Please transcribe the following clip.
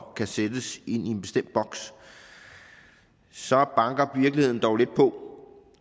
og kan sættes ind i en bestemt boks så banker virkeligheden dog lidt på